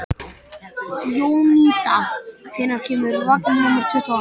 Jónída, hvenær kemur vagn númer tuttugu og átta?